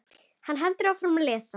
Hann heldur áfram að lesa: